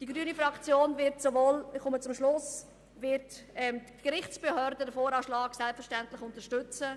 Die grüne Fraktion wird den VA der Gerichtsbehörden selbstverständlich unterstützen.